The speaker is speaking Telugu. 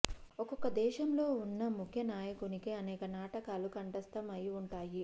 ఒక్కొక్క దేశంలో వున్న ముఖ్య నాయకునికి అనేక నాటకాలు కంఠస్థం అయి వుంటాయి